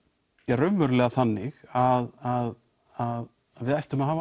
raunverulega þannig að við ættum að hafa